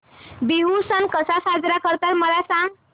बिहू सण कसा साजरा करतात मला सांग